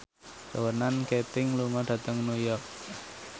Ronan Keating lunga dhateng New York